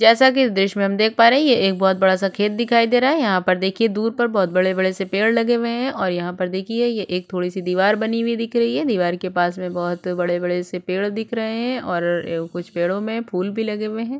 जैसा की इस दृश्य में हम देख पा रहै है ये एक बहुत बड़ा सा खेत दिखाई दे रहा है यहा पर देखिए दूर पर बहुत बड़े बड़े से पेड़ लगे हुए है और यहा पर देखिए ये एक थोड़ी सी दीवार बनी हुई दिख रही है दीवार के पास में बुहूत बड़े-बड़े से पेड़ दिख रहै है और ए कुछ पेड़ो में फूल भी लगे हुए है।